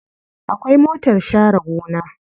Akwai motar share gona.